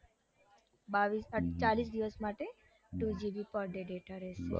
બાવીસ ચાલીસ દિવસ માટે two gn per day data રેસે